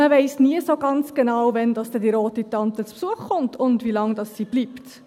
Man weiss nie so ganz genau, wann die rote Tante zu Besuch kommt und wie lange sie bleibt.